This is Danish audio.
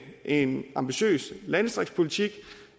en ambitiøs landdistriktspolitik